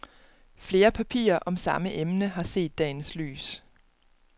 Flere papirer om samme emne har set dagens lys.